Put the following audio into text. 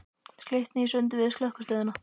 Við slitnuðum í sundur við Slökkvistöðina.